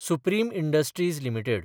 supreme Industries limited